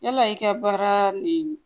Yala i ka baara nin